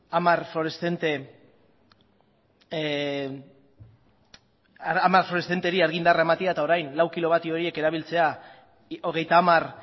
hamar fluoreszenteri argindarra ematea eta orain lau kilovatio horiek erabiltzea hogeita hamar